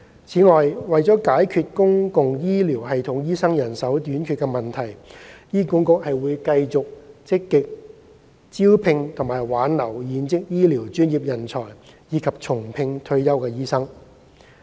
此外，為解決公共醫療系統醫生人手短缺問題，醫管局會繼續積極招聘和挽留現職醫療專業人才，以及重聘退休醫生。